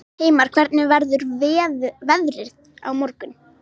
Hreiðmar, hvernig verður veðrið á morgun?